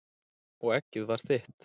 Og eggið var þitt!